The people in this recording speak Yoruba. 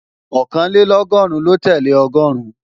Ọ̀kànlélọ́gọ́rùn ló tẹ́lẹ̀ Ọgọ́ọ̀rún